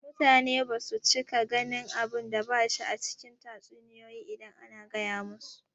Mutane basu cika ganin abunda bashi ba a cikin tatsuniyoyi idan ana gaya musu